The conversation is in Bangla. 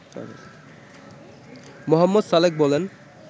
মো. সালেক বলেন